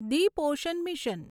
Deep ocean mission